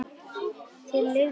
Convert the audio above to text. Þeir lifðu góða tíma.